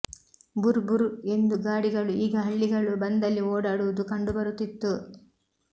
ಬುರ್ ಬುರ್ ಎಂದು ಗಾಡಿಗಳು ಈಗ ಹಳ್ಳಿಗಳು ಬಂದಲ್ಲಿ ಓಡಾಡುವುದು ಕಂಡು ಬರುತ್ತಿತ್ತು